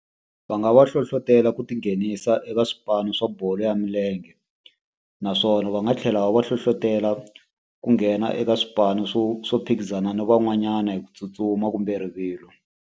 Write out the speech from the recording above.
Va nga va hlohlotela ku tinghenisa eka swipano swa bolo ya milenge. Naswona va nga tlhela va va hlohlotelo ku nghena eka swipano swo swo phikizana na van'wanyana hi ku tsutsuma kumbe rivilo.